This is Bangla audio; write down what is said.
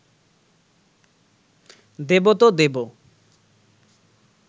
দেব তো দেব